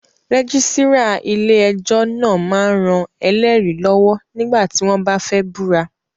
Rẹ́gísírà ilé ẹjọ́ náà máa ń ran ẹlẹ́rìí lọ́wọ́ nígbà tí wọ́n bá fẹ́ búra